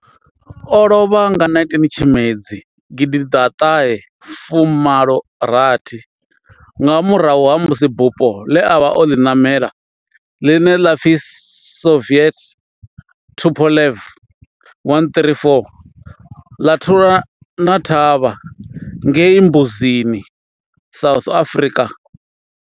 O lovha nga 19 Tshimedzi 1986 nga murahu ha musi bufho ḽe a vha o ḽi namela, ḽine ḽa pfi Soviet Tupolev 134 ḽa thulana thavha ngei Mbuzini, South Africa.